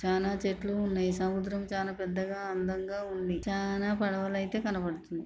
చానా చెట్లు ఉన్నాయి సముద్రం చాలా పెద్దగా అందంగా ఉంది చానా పడవలు అయితే కనబడుతున్నాయి.